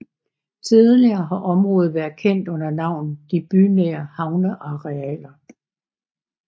Tidligere har området været kendt under navnet De bynære havnearealer